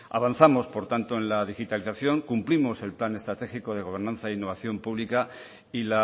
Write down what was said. avanzamos por tanto en la digitalización cumplimos el plan estratégico de gobernanza e innovación pública y